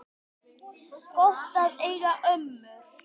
Gott að eiga ömmur!